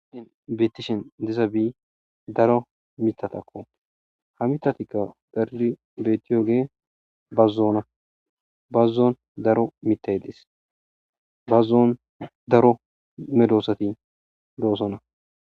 adin beettishin diza bi daro mitatakko hamitatikka dariri beetiyoge bazzona bazzoon daro mitay dis bazzoon daro me doosati doosona